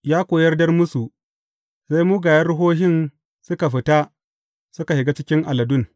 Ya kuwa yarda musu, sai mugayen ruhohin suka fita suka shiga cikin aladun.